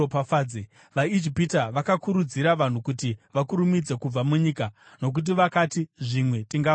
VaIjipita vakakurudzira vanhu kuti vakurumidze kubva munyika. Nokuti vakati, “Zvimwe tingafa tose!”